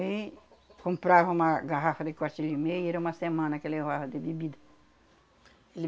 E comprava uma garrafa de, era uma semana que levava de bebida. Ele